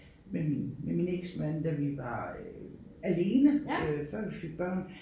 Med min med min eksmand da vi var øh alene øh før vi fik børn